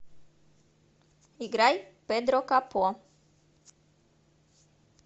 играй педро капо